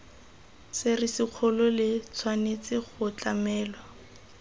serisikgolo le tshwanetse go tlamelwa